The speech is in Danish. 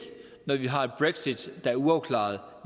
når vi har et brexit der er uafklaret